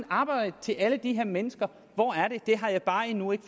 arbejde til alle de her mennesker hvor er det det har jeg bare endnu ikke